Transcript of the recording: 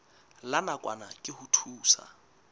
la nakwana ke ho thusa